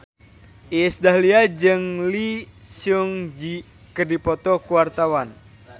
Iis Dahlia jeung Lee Seung Gi keur dipoto ku wartawan